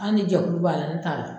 Ali ni jɛkulu b'a la ne t'a la